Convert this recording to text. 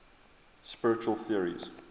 spiritual theories